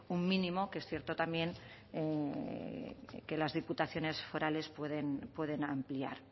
un mínimo que es cierto también que las diputaciones forales pueden ampliar